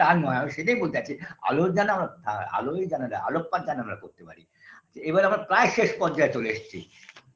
তা নয় আমি সেইটাই বলতে যাচ্ছি আলোর দানা ভালোই জানা যায় আলোকপাত জানালা করতে পারি এবার আমরা প্রায় শেষ পর্যায়ে চলে এসছি